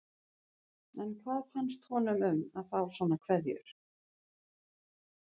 En hvað fannst honum um að fá svona kveðjur?